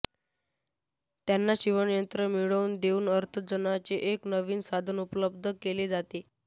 त्यांना शिवणयंत्रे मिळवून देऊन अर्थार्जनाचे एक नवीन साधन उपलब्ध केले जाते